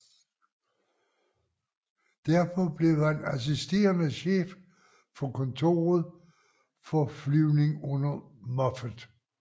Derpå blev han assisterende chef for kontoret for flyvning under Moffett